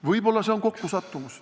Võib-olla see on kokkusattumus.